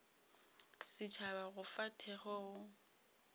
setšhaba go fa thekgo go